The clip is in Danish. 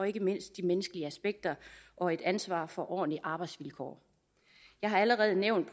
ikke mindst de menneskelige aspekter og et ansvar for ordentlige arbejdsvilkår jeg har allerede nævnt